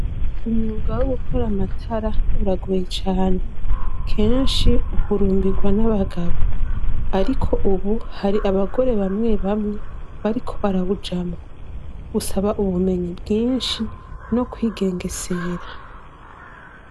Umwuga wo gukora amatara uragoye cane. Kenshi uhurumbirwa n'abagabo ariko ubu, hari abagore bamwe bamwe bariko barawujamwo. Usaba ubumenyi bwinshi no kwigengesera.